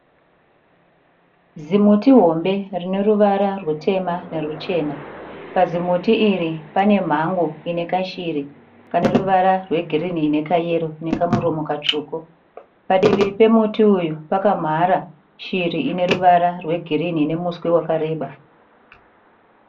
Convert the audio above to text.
Zimuti hombe rine ruvara rutema nerwechena. Pazimuti iri pane mhango ine kashiri kane ruvara rwegirini nekamuromo katsvuku Padivi pemutii uyu pakamhara shiri ine ruvara rwegirini ine muswe wakareba.